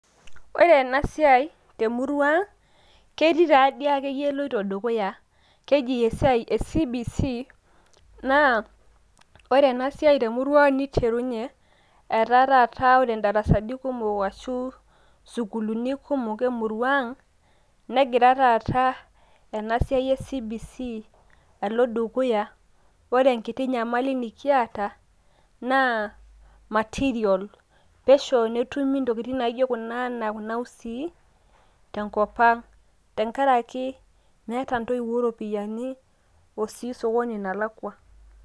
Ore ena siai te murua ang ketii taa doi ake yie eloito dukuya , keji esiai e CBC, naa ore ena siai te murua ang neiterunye etaa taata ore `darasani kumok ashu sukuulini kumok e murua ang, negira taata ena siai e CBC alo dukuya. Ore enkiti nyamali nikiata naa material pesho netumi ntokitin kuna naijo taata kuna enaa kuna usii tenkop ang. Tenkaraki meeta ntoiwuo ropiyiani o sii sokoni nalakua.